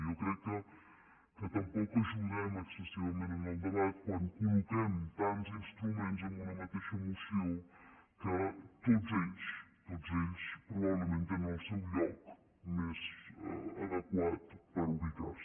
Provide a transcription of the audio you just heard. jo crec que tampoc ajudem excessivament en el debat quan col·loquem tants instruments en una mateixa moció que tots ells tots ells probablement tenen el seu lloc més adequat per ubicar se